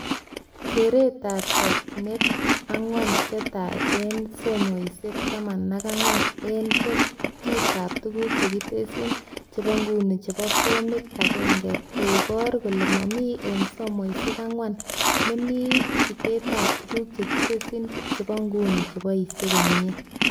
Keretab chochinet ankwan chetai eng somoishek 14 eng chutetab tuguk chekitesyi chebonguni chebo Form 1 koboru kole mamii eng somoishek 4 nemi chutetab tuguk chekitesyii chebonguni cheboishe komiee